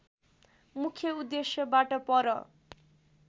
मुख्य उद्देश्यबाट पर